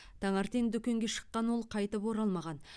таңертең дүкенге шыққан ол қайтып оралмаған